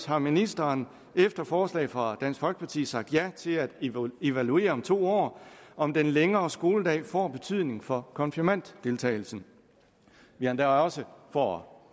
har ministeren efter forslag fra dansk folkeparti sagt ja til at evaluere om to år om den længere skoledag får betydning for konfirmanddeltagelsen vi har endda også for